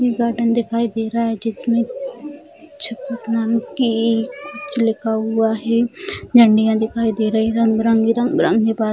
एक गार्डन दिखाई दे रहा है जिसमें छपक नाम की कुछ लिखा हुआ है झंडियाँ दिखाई दे रही रंग-बिरंगी रंग-बिरंगी --